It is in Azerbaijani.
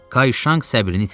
Kayşanq səbrini itirdi.